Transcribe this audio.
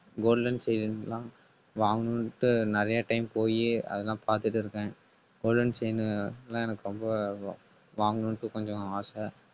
golden chain எல்லாம் வாங்கணும்ட்டு நிறைய time போயி அதெல்லாம் பார்த்துட்டு இருக்கேன் golden chain எல்லாம் எனக்கு ரொம்ப வா~ வாங்கணும்னுட்டு கொஞ்சம் ஆசை